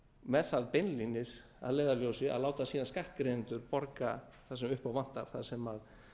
með það beinlínis að leiðarljósi að láta síðan skattgreiðendur borga það sem upp á vantar það sem